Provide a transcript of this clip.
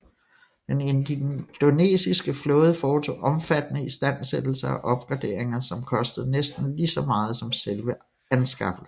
Den indonesiske flåde foretog omfattende istandsættelser og opgraderinger som kostede næsten lige så meget som selve anskaffelsen